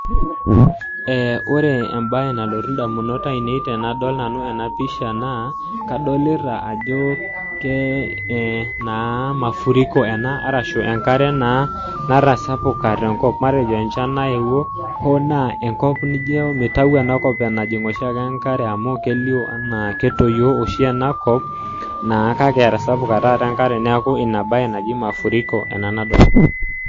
Wore embaye nalotu indamunot aiinei tenadol nanu ena pisha naa, kadolita ajo ke naa mafuriko ena arashu enkare naa natasapuka tenkop matejo enchan nayewuo hoo naa enkop nijo mitayu enakop enajing oshiake enkare amu kelio enaa ketoyio oshi enakop, naa kake etasapuka taata enkare neeku ina baye naji mafuriko ena nadolta.